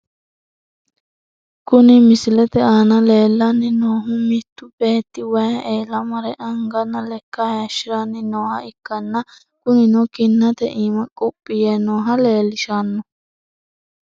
Kuni misilete aana leellanni noohu mittu beetti wayi eela mare anganna lekka hayiishiranni nooha ikkanna, kunino kinnate iima quphi yee nooha leellishshanno.